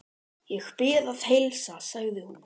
Ég bið að heilsa, sagði hún.